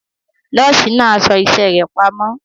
Nọ́ọ̀sì náà aṣọ iṣẹ́ rẹ̀ pamọ́.